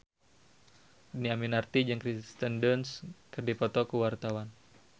Dhini Aminarti jeung Kirsten Dunst keur dipoto ku wartawan